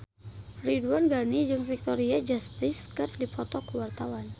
Ridwan Ghani jeung Victoria Justice keur dipoto ku wartawan